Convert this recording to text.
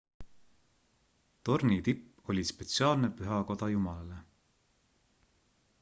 tornitipp oli spetsiaalne pühakoda jumalale